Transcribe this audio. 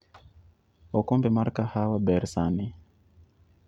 okombe mar kahawa ber sani